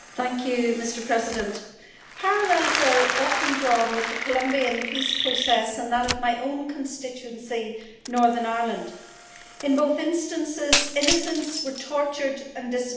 Mr President, parallels are often drawn between the Colombian peace process and that of my own constituency, Northern Ireland. In both instances, innocents were tortured and disappeared.